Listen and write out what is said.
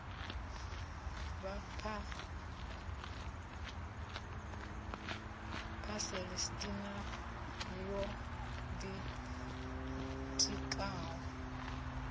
na vhaphalestina yo ḓi tikaho